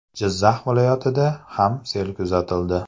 Jizzax viloyatida ham sel kuzatildi.